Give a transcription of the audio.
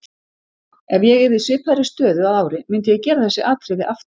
Ef ég yrði í svipaðri stöðu að ári myndi ég gera þessi atriði aftur.